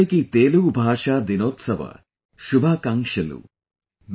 Andariki Telugu Bhasha Dinotsava Shubhakankshalu |